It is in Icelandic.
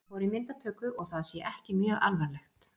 Hann fór í myndatöku og það sé ekki mjög alvarlegt.